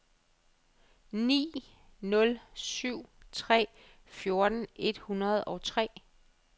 ni nul syv tre fjorten et hundrede og tre